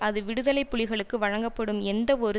அது விடுதலை புலிகளுக்கு வழங்கப்படும் எந்தவொரு